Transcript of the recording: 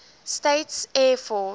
states air force